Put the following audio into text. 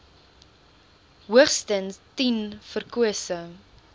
hoogstens tien verkose